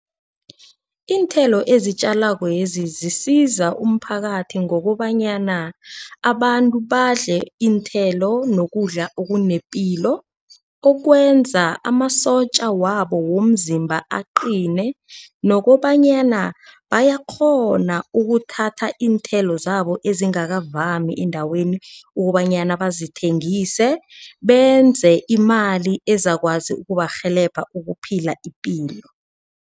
Iinthelo ezitjalwakwezi zisiza umphakathi ngokobanyana abantu badle iinthelo nokudla okunepilo. Okwenza amasotja wabo womzimba aqine. Nokobanyana bayakghona ukuthatha iinthelo zabo ezingakavami endaweni ukobanyana bazithengise benze imali ezakwazi ukuba barhelebha baphile ipilo.